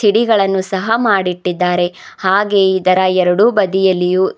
ಡಿಗಳನ್ನು ಸಹ ಮಾಡಿಟ್ಟಿದ್ದಾರೆ ಹಾಗೆ ಇದರ ಎರಡು ಬದಿಯಲ್ಲಿಯೂ--